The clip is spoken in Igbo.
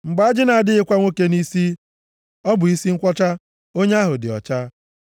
“Mgbe ajị na-adịghịkwa nwoke nʼisi, ọ bụ isi nkwọcha, onye ahụ dị ọcha.